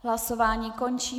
Hlasování končím.